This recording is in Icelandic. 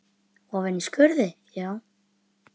Ofan í skurði, já?